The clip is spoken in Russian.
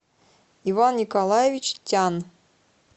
иван николаевич тян